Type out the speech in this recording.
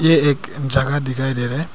ये एक जगह दिखाई दे रहा है।